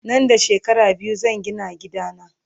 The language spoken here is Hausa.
Nan da shekara biyu zan Gina gida na